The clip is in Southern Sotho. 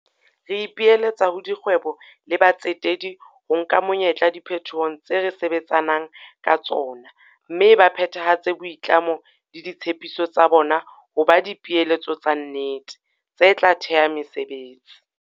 Re ipiletsa ho dikgwebo le batsetedi ho nka monyetla diphetohong tse re sebetsa nang ka tsona tsena mme ba phethahatse boitlamo le ditshepiso tsa bona ho ba dipeeletso tsa nnete, tse tla theha mesebetsi.